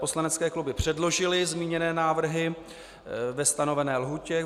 Poslanecké kluby předložily zmíněné návrhy ve stanovené lhůtě.